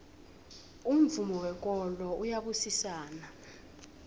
umvumo wekolo uyabusisana